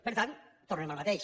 per tant tornem al mateix